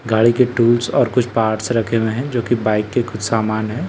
गाडी के टूल्स और कुछ पार्ट्स रखे हुए हैं जो के बाइक के कुछ सामान हैं --